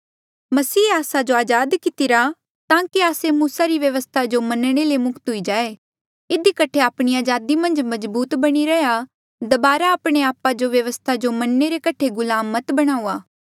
मसीहे आस्सा जो अजाद कितिरा ताकि आस्से मूसा री व्यवस्था जो मनणे ले मुक्त हुई जाये इधी कठे आपणी अजादी मन्झ मजबूत बणी रैहया दबारा आपणे आपा जो व्यवस्था जो मनणे रे कठे गुलाम मत बनाऊआ